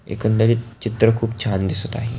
एकंदरित चित्र खुप छान दिसत आहे.